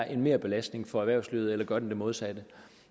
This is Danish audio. en merbelastning for erhvervslivet eller gør det modsatte